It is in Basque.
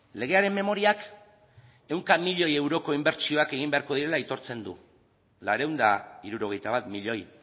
legearen memoriak ehunka milioi euroko inbertsioak egin beharko direla aitortzen du laurehun eta hirurogeita bat milioi